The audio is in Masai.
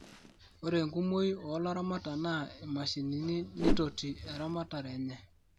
ore enkumooi oo laramatak naa imashinini nitoti eramatare enye